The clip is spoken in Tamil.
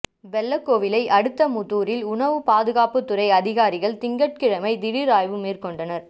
வெள்ளக்கோவிலை அடுத்த முத்தூரில் உணவுப் பாதுகாப்புத் துறை அதிகாரிகள் திங்கள்கிழமை திடீா் ஆய்வு மேற்கொண்டனா்